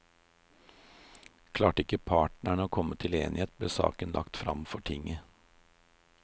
Klarte ikke partene å komme til enighet, ble saken lagt fram for tinget.